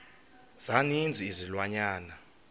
za ninzi izilwanyana